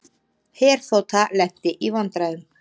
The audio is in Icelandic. Herþota lenti í vandræðum